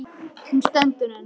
Hún stendur enn.